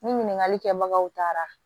Ni ɲininkali kɛbagaw taara